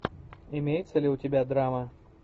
имеется ли у тебя драма